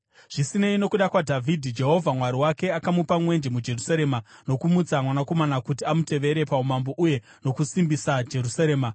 Zvisinei, nokuda kwaDhavhidhi, Jehovha Mwari wake akamupa mwenje muJerusarema nokumutsa mwanakomana kuti amutevere paumambo uye nokusimbisa Jerusarema.